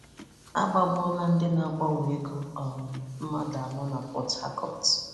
A gbagbuola ndị na-agbanwe ego um mmadụ anọ na Port Harcourt